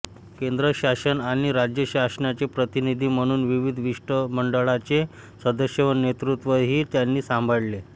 केंद्र शासन आणि राज्य शासनाचे प्रतिनिधी म्हणून विविध शिष्टमंडळांचे सदस्य व नेतृत्वही त्यांनी सांभाळले